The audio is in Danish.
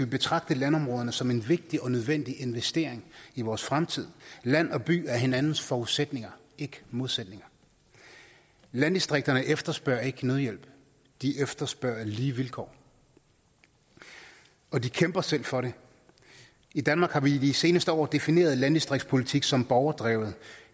betragte landområderne som en vigtig og nødvendig investering i vores fremtid land og by er hinandens forudsætninger ikke modsætninger landdistrikterne efterspørger ikke nødhjælp de efterspørger lige vilkår og de kæmper selv for det i danmark har man i de seneste år defineret landdistriktspolitik som borgerdrevet